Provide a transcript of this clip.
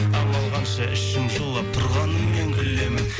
амал қанша ішім жылап тұрғанымен күлемін